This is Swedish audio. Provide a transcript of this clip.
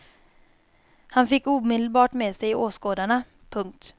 Han fick omedelbart med sig åskådarna. punkt